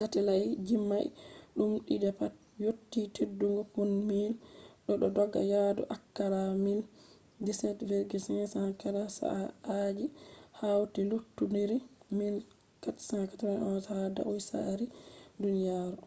satelait jimai dum di'di pat yotti teddugo pound 1000 bo do dogga yadu akalla mil 17,500 kala saa'aaji hauti lukkindiri mil 491 ha dau sarari duniyaro